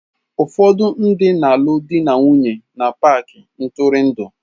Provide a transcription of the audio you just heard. Ụfọdụ ndị na-alụ di na nwunye na paaki ntụrụndụ.